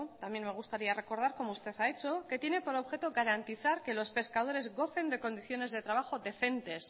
también me gustaría recordar como usted ha hecho que tiene por objeto garantizar que los pescadores gocen de condiciones de trabajo decentes